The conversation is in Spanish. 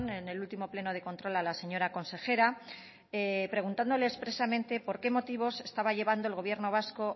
en el último pleno de control a la señora consejera preguntándole expresamente por qué motivos estaba llevando el gobierno vasco o